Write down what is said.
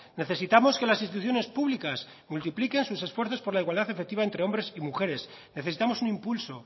necesitamos que las instituciones públicas multipliquen sus esfuerzos por la igualdad efectiva entre hombres y mujeres necesitamos un impulso